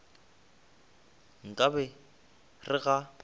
nka be ke re ga